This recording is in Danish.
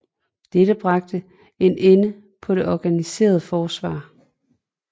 Dette bragte en ende på det organiserede forsvar